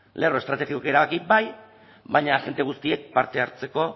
lerro estrategiko bai baina agente guztiek parte hartzeko